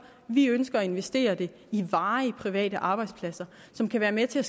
vi ønsker at investere det i varige private arbejdspladser som kan være med til at